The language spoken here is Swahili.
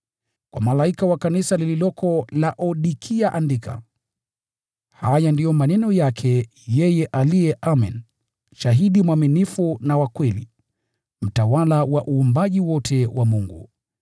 “Kwa malaika wa kanisa lililoko Laodikia andika: “Haya ndiyo maneno yake yeye aliye Amen, shahidi mwaminifu na wa kweli, mtawala wa uumbaji wote wa Mungu.